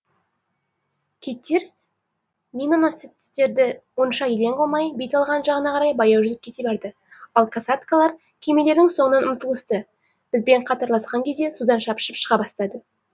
киттер миноносецтерді онша елең қылмай бет алған жағына қарай баяу жүзіп кете барды ал касаткалар кемелердің соңынан ұмтылысты бізбен қатарласқан кезде судан шапшып шыға бастады